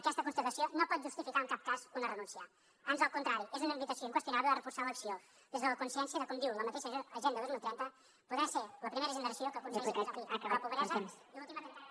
aquesta constatació no pot justificar en cap cas una renúncia ans al contrari és una invitació inqüestionable a reforçar l’acció des de la consciència de com diu la mateixa agenda dos mil trenta poder ser la primera generació que aconsegueixi posar fi a la pobresa i l’última que